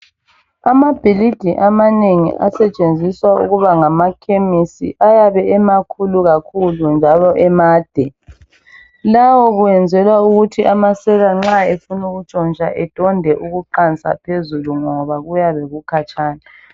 Amabhilidi amanengi asentshenziswa ukuba ngamakhemisi ayabe emakhulu kakhulu njalo emade. Lawo kwenzelwa ukuthi nxa amasela efuna ukuntshontsha edonde ukuqansa phezulu ngoba kuyabe kukhatshana.